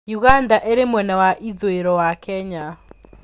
Uganda ĩrĩ mwena wa ithũĩro wa Kenya.